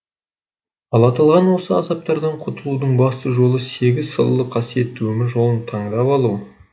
ал аталған осы азаптардан құтылудың басты жолы сегіз салалы қасиетті өмір жолын тандап алу